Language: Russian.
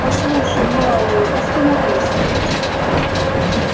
послушай мэллоу остановись